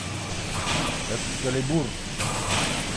экскалибур